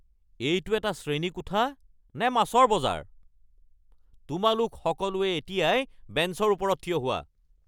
এইটো এটা শ্ৰেণীকোঠা নে মাছৰ বজাৰ? তোমালোক সকলোৱে এতিয়াই বেঞ্চৰ ওপৰত থিয় হোৱা!